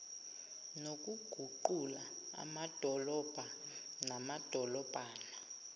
nokuguqula amadolobha namadolobhana